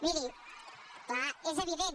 miri clar és evident